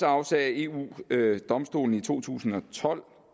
afsagde eu domstolen i to tusind og tolv